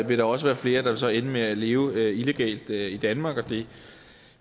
vil der også være flere der så vil ende med at leve illegalt i danmark